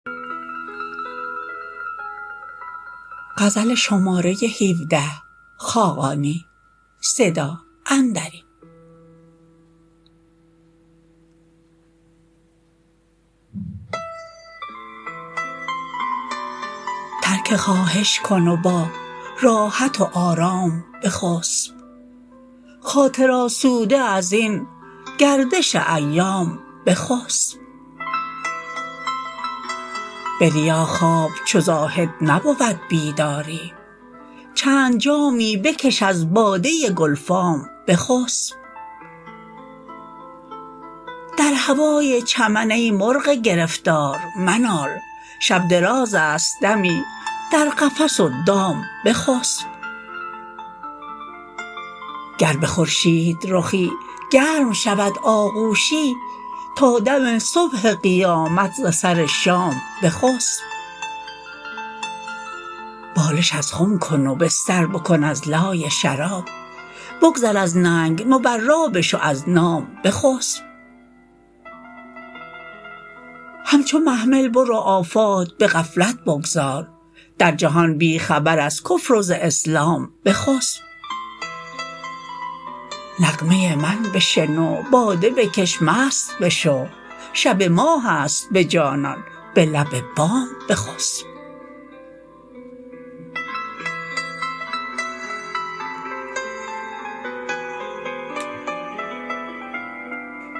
ترک خواهش کن و با راحت و آرام بخسب خاطر آسوده ازین گردش ایام بخسب به ریا خواب چو زاهد نبود بیداری چند جامی بکش از باده گلفام بخسب در هوای چمن ای مرغ گرفتار منال شب دراز است دمی در قفس و دام بخسب گر به خورشید رخی گرم شود آغوشی تا دم صبح قیامت ز سر شام بخسب بالش از خم کن و بستر بکن از لای شراب بگذر از ننگ مبرا بشو از نام بخسب همچو محمل برو آفات به غفلت بگذار در جهان بی خبر از کفر و ز اسلام بخسب نغمه من بشنو باده بکش مست بشو شب ماه است به جانان به لب بام بخسب